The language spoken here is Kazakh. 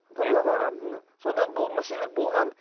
табыл аға сонда бұл мәселелер болған